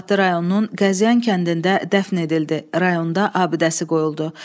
Qubadlı rayonunun Qəzyan kəndində dəfn edildi, rayonda abidəsi qoyuldu.